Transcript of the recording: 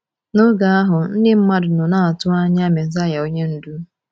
N’oge ahụ, ndị mmadụ nọ n’atụ anya Mesaịa onye Ndu.